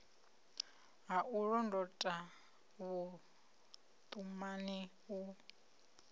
ha u londota vhuṱumani u